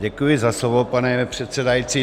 Děkuji za slovo, pane předsedající.